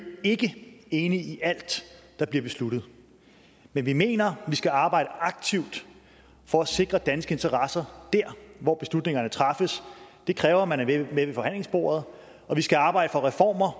ikke enige i alt der bliver besluttet men vi mener at vi skal arbejde aktivt for at sikre danske interesser der hvor beslutningerne træffes det kræver at man er med ved forhandlingsbordet og vi skal arbejde for reformer